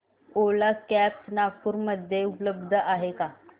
ओला cabs Nagpur मध्ये उपलब्ध आहे का